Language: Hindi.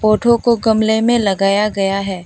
पौधों को गमले में लगाया गया है।